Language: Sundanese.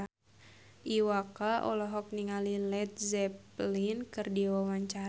Iwa K olohok ningali Led Zeppelin keur diwawancara